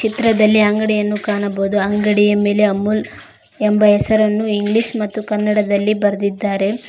ಚಿತ್ರದಲ್ಲಿ ಅಂಗಡಿಯನ್ನು ಕಾಣಬಹುದು ಅಂಗಡಿಯ ಮೇಲೆ ಅಮೂಲ್ ಎಂಬ ಹೆಸರನ್ನು ಇಂಗ್ಲಿಷ್ ಮತ್ತು ಕನ್ನಡದಲ್ಲಿ ಬರ್ದಿದ್ದಾರೆ.